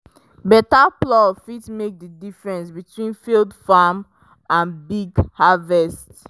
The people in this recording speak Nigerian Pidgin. better plow fit make the difference between failed farm and big harvest.